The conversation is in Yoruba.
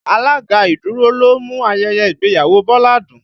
Alága ìdúró ló mú ayẹyẹ ìgbéyàwó Bọlá dùn